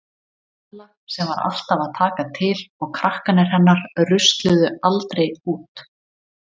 Bella sem var alltaf að taka til og krakkarnir hennar rusluðu aldrei út.